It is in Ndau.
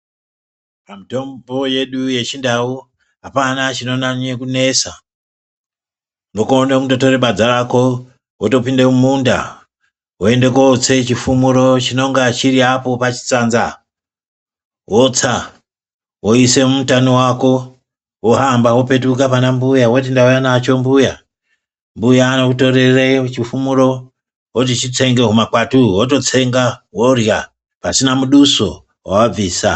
Pamitombo yedu yechindau hapana chinonyanye kunesa unokone kundotore badza Rako wotopinde mumunda wondotse chifumuro chinonga chiri apo pachitsanza wotsa woise mumutani wako wohamba wopetuke pana mbuya woti ndauya nacho mbuya ,mbuya unokutorere chifumuro oti chitsenge humakwati uhwu wototsenga worya pasina muduso wawabvisa.